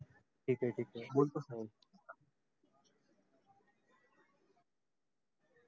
ठीक हे ठीक हे बोलतो.